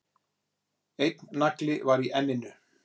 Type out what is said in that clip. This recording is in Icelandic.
Einn nagli var í enninu